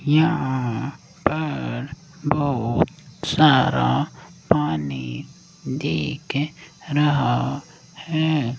यहां पर बोहोत सारा पानी दिख रहा हैं।